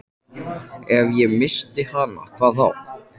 Ef ég missti hana, hvað þá?